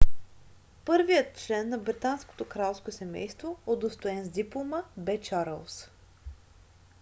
първият член на британското кралско семейство удостоен с диплома бе чарлз